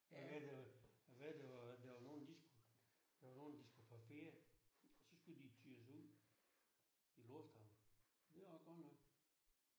Hvad det var hvad det var der var nogen de skulle der var nogen de skulle på ferie så skulle de køres ud i lufthavnen. Det også godt nok